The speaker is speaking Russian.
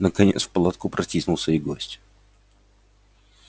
наконец в палатку протиснулся и гость